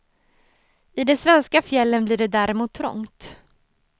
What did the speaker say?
I de svenska fjällen blir det däremot trångt.